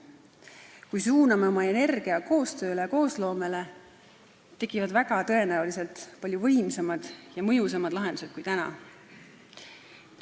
Kui suuname oma energia koostööle ja koosloomele, tekivad väga tõenäoliselt palju võimsamad ja mõjusamad lahendused kui täna.